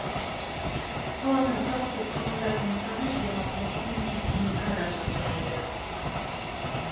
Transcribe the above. қаланың тұрақты тұрғындарының саны жиырма тоғыз мың сексен екі адамды құрайды